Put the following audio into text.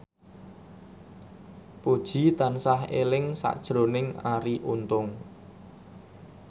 Puji tansah eling sakjroning Arie Untung